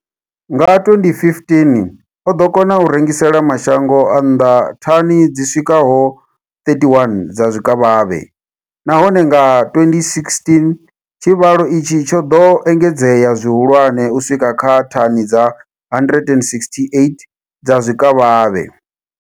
Nga 2015, o ḓo kona u rengisela mashango a nnḓa thani dzi swikaho 31 dza zwikavhavhe, nahone nga 2016 tshivhalo itshi tsho ḓo engedzea zwihulwane u swika kha thani dza 168 dza zwikavhavhe.